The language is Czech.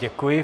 Děkuji.